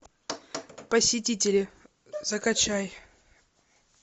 посетители закачай